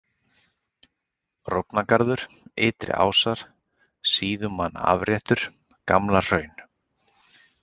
Rófnagarður, Ytri-Ásar, Síðumannaafréttur, Gamla-Hraun